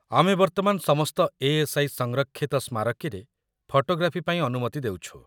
ଆମେ ବର୍ତ୍ତମାନ ସମସ୍ତ ଏ.ଏସ୍.ଆଇ. ସଂରକ୍ଷିତ ସ୍ମାରକୀରେ ଫଟୋଗ୍ରାଫି ପାଇଁ ଅନୁମତି ଦେଉଛୁ।